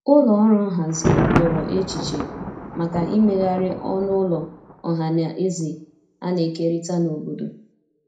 ụlọ ọrụ nhazi riọrọ echiche maka imeghari ọnụ ụlọ ohanaeze ana ekerita n'obodo